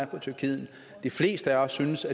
på tyrkiet de fleste af os synes